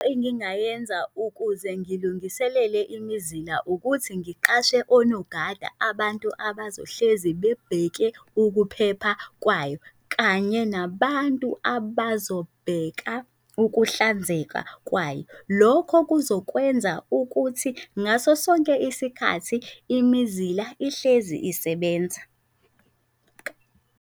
Engingayenza ukuze ngilungiselele imizila ukuthi ngiqashe onogada abantu abazohlezi bebheke ukuphepha kwayo, kanye nabantu abazobheka ukuhlanzeka kwayo. Lokho kuzokwenza ukuthi ngaso sonke isikhathi imizila ihlezi isebenza.